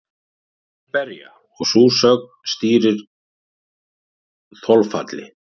Þeir berja og sú sögn stýrir þolfalli.